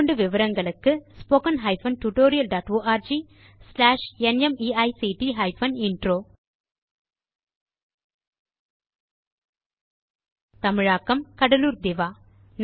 மேற்கொண்டு விவரங்களுக்கு spoken tutorialorgnmeict intro தமிழாக்கம் கடலூர் திவா